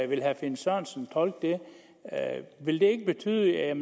vil herre finn sørensen tolke det vil det ikke betyde at